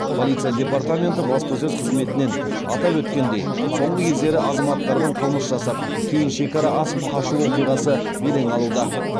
полиция департаменті баспасөз қызметінен атап өткендей соңғы кездері азаматтардың қылмыс жасап кейін шекара асып қашу оқиғасы белең алуда